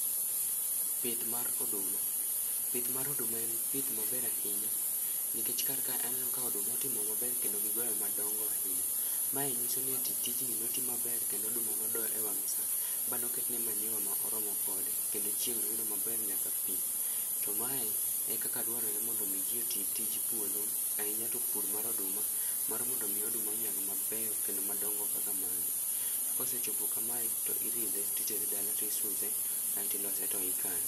Pith mar oduma. pith mar oduma en pith maber ahinya nikech kar ka aneno ka oduma otimo maber kendo gigoyo madongo ahinya. Mae nyiso ni ati tijni notim maner kendo oduma nodo e wang' sa banoketne manyiwa ma oromo kode kendo chieng' noyudo maber nyaka pi. To mae e kaka dwarore mondo omi ji oti tij puodho ahinya to pur mar oduma mar mondo omi oduma onyag mabeyo kendo madongo kaka magi. To kosechopo kamae to iridhe titere dala tisuse aeto ilose to ikane.